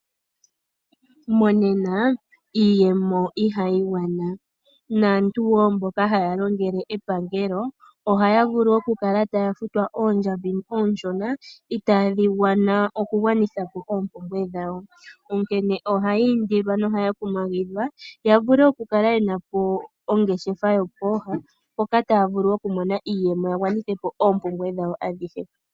Monena iiyemo ihayi gwana naantu wo mboka haya longele epangelo ohaya vulu wo oku kala taya futwa oondjambi onshona itadhi gwana okugwanitha po ompumbwe dhawo. Onkene ohayi indilwa nohaya kumagidhwa ya vule okukala yena po ongeshefa yopoha mpoka taya vulu okumona iiyemo ya gwanithe po oompumbwe dhawo adhihe.